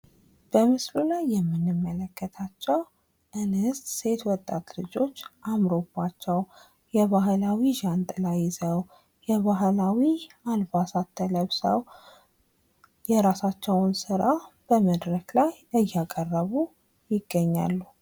በምስሉ ላይ የምንመለከታቸው እንስት ሴት ወጣት ልጆች አምሮባቸው የባህላዊ ዣንጥላ ይዘው የባህላዊ አልባሳት ለብሰው የራሳቸውን ስራ በመድረክ ላይ እያቀረቡ ይገኛሉ።